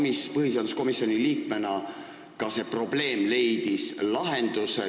Kas te põhiseaduskomisjoni liikmena võite öelda, et see probleem leidis lahenduse?